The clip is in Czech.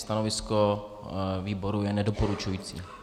Stanovisko výboru je nedoporučující.